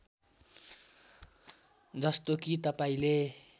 जस्तो कि तपाईँले